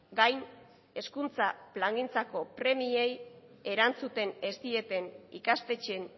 gain hezkuntza plangintzako premiei erantzuten ez dieten ikastetxeen